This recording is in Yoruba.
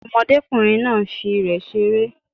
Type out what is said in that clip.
Ọmọdékùnrin náà nfi ìrẹ̀ seré